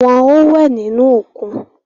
Wọn o wẹ nínú òkun